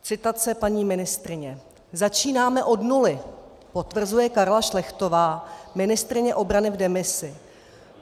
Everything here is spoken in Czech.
Citace paní ministryně: " "Začínáme od nuly," potvrzuje Karla Šlechtová, ministryně obrany v demisi.